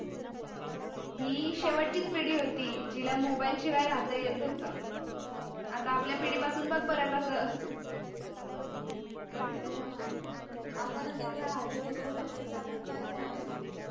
ही शेवटचीच पिडी होती जीला mobile शिवाय राहता येत होत. आता आपल्या पिडी पासून बग बर कस हो णा आपणच येवडे आहारी गेलो mobile च्या आपण काय कोणाला सांगणार